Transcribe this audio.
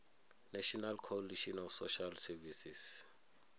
national coalition of social services